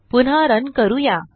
पुन्हा रन करूया